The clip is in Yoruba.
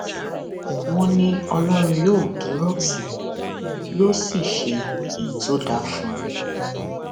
wọn ní ọlọrun yóò dúró tì í yóò sì ṣe èyí tó dáa fún un